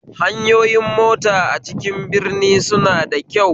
Hanyoyin mota a cikin birni suna da kyau